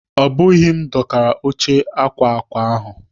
Obughi m dokara óche akwa akwa ahụ.